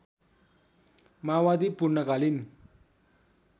माओवादी पूर्णकालीन